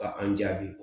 Ka an jaabi